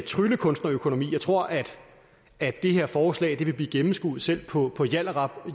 tryllekunstnerøkonomi jeg tror at det her forslag vil blive gennemskuet selv på